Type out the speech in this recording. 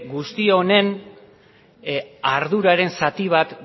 guzti honen arduraren zati bat